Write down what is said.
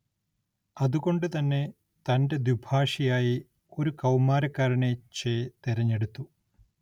അതുകൊണ്ട് തന്നെ തന്റെ ദ്വിഭാഷിയായി ഒരു കൗമാരക്കാരനെ ചെ തിരഞ്ഞെടുത്തു.